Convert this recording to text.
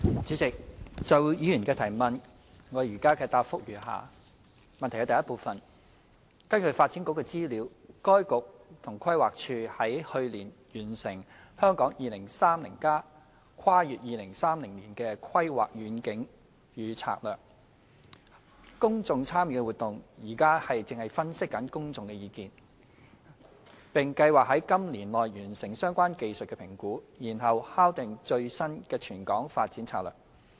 主席，就議員的質詢，我現答覆如下：一根據發展局的資料，該局和規劃署於去年完成《香港 2030+： 跨越2030年的規劃遠景與策略》公眾參與活動，現正分析公眾意見，並計劃今年內完成相關技術評估，然後敲定最新的全港發展策略。